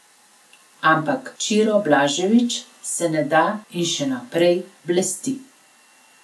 Ampak Ćiro Blažević se ne da in še naprej blesti.